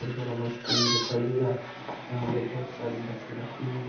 --र बड़ा bus stand दिखाई दे रहा है यहाँ पर बहुत सारी बसे रखी हुई--